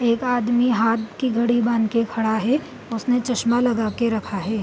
एक आदमी हाथ की घड़ी बांध के खड़ा है उसने चश्मा लगाके रखा है।